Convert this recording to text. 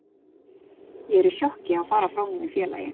Ég er í sjokki að fara frá mínu félagi.